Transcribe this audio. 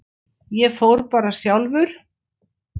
Ég fór bara sjálfur.